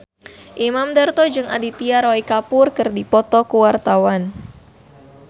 Imam Darto jeung Aditya Roy Kapoor keur dipoto ku wartawan